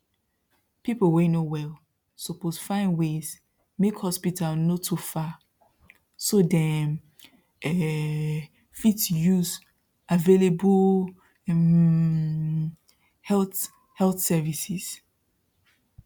people wey no well suppose find ways make hospital no too far so dem um fit use available um health health services